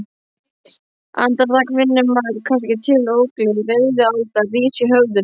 Andartak finnur maður kannski til ógleði, reiðialda rís í höfðinu